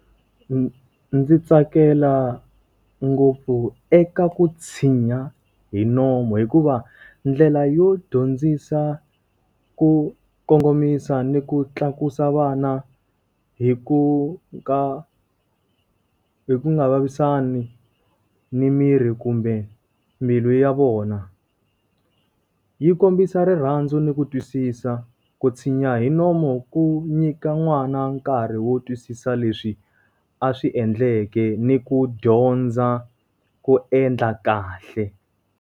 Ndzi tsakela ngopfu eka ku tshinya hi nomu hikuva, ndlela yo dyondzisa ku kongomisa ni ku tlakusa vana hi ku ka hi ku nga vavisani ni mirhi kumbe mbilu ya vona. Yi kombisa rirhandzu ni ku twisisa. Ku tshinya hi nomu ku nyika n'wana nkarhi wo twisisa leswi a swi endleke ni ku dyondza ku endla kahle.